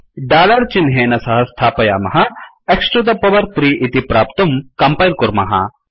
dollar चिह्नेन सह स्थापयामः X टु द पवर् 3 इति प्राप्तुं कम्पैल् कुर्मः